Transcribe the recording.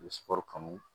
U bɛ sukoro kanu